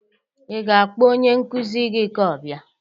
Ị ga-akpọ onye nkụzi gị ka ọ bịa